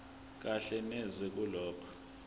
kahle neze kulokho